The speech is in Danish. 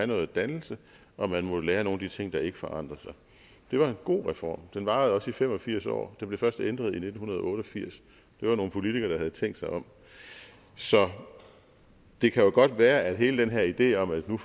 noget dannelse og man må lære nogle af de ting der ikke forandrer sig det var en god reform og den varede også i fem og firs år den blev først ændret i nitten otte og firs det var nogle politikere der havde tænkt sig om så det kan jo godt være at hele den her idé om at verden